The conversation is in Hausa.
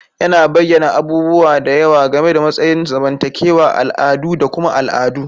Yana bayyana abubuwa da yawa game da matsayin zamantakewa, al'adu, da kuma al'adu.